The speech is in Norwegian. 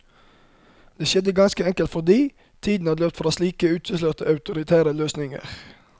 Det skjedde ganske enkelt fordi tiden hadde løpt fra slike utilslørt autoritære løsninger.